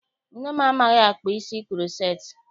Nne m amaghị akpa isi kuroceti.